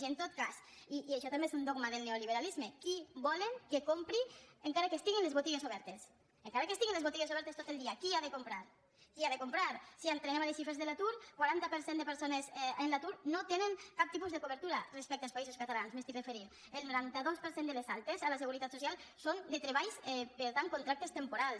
i en tot cas i això també és un dogma del neoliberalisme qui volen que compri encara que estiguin les botigues obertes encara que estiguin les botigues obertes tot el dia qui ha de comprar qui ha de comprar si entrem en les xifres de l’atur el quaranta per cent de persones en l’atur no tenen cap tipus de cobertura respecte als països catalans m’estic referint el noranta dos per cent de les altes a la seguretat social són de treballs per contractes temporals